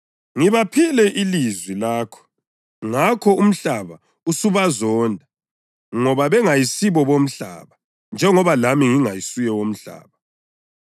Ngibaphile ilizwi lakho ngakho umhlaba usubazonda ngoba bengaseyibo bomhlaba njengoba lami ngingasuye womhlaba.